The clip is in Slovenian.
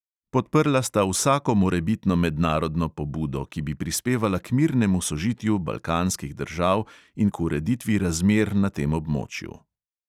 Podprla sta vsako morebitno mednarodno pobudo, ki bi prispevala k mirnemu sožitju balkanskih držav in k ureditvi razmer na tem območju.